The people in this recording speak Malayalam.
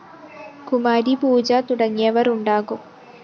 കുമാരീ പൂജ തുടങ്ങിയവ ഉണ്ടാകും